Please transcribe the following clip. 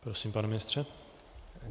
Prosím, pane ministře.